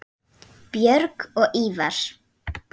Björg og Ívar.